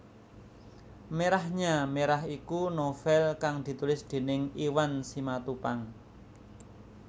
Merahnya Merah iku novèl kang ditulis déning Iwan Simatupang